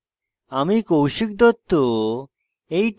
আমি কৌশিক দত্ত এই টিউটোরিয়ালটি অনুবাদ করেছি